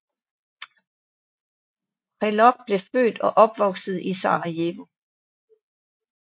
Prelog blev født og opvoksede i Sarajevo